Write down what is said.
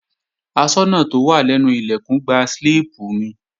Aṣọ́nà tó wà lẹ́nu Ilẹ̀kùn gba slíìpù mi